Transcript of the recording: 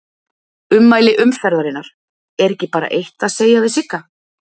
Ummæli umferðarinnar: Er ekki bara eitt að segja við Sigga?